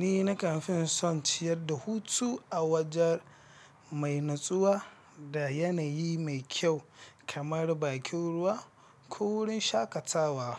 Ni na kanfin Son ciyar da hutu a wajen mai natsuwa da yanayi mai kyau kamar bakin ruwa ko wurin shakatawa.